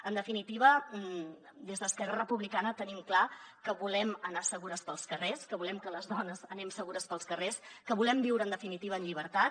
en definitiva des d’esquerra republicana tenim clar que volem anar segures pels carrers que volem que les dones anem segures pels carrers que volem viure en definitiva en llibertat